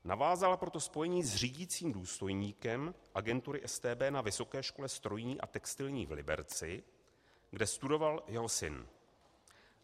Navázala proto spojení s řídícím důstojníkem agentury StB na Vysoké škole strojní a textilní v Liberci, kde studoval jeho syn.